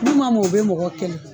N'u ma mɔ u be mɔgɔ kɛlɛ